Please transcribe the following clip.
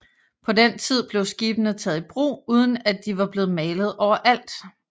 På den tid blev skibene taget i brug uden at de var blevet malet overalt